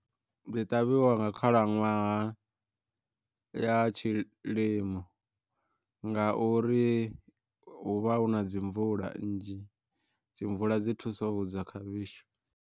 Dzi ṱavhiwa nga khalaṅwaha, ya tshilimo nga uri hu vha hu na dzi mvula nnzhi dzi mvula dzi thuso hudza khavhishi.